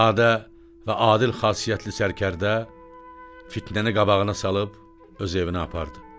Sadə və adil xasiyyətli sərkərdə fitnəni qabağına salıb öz evinə apardı.